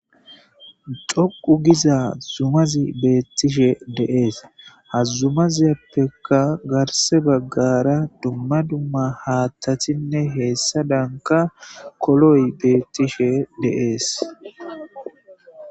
Xoqu giza sohon zumazi betishe des ha zumazappeka garise bagara dumma dumma haththatinne hesadanka koloyi betishe des.